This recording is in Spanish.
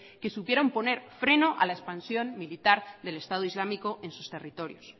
que supieron poner freno a la expansión militar del estado islámico en sus territorios